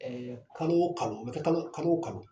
ɛɛ Kalo o kalo n'o tɛ kalo o kalo